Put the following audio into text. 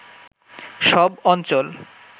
সব অঞ্চল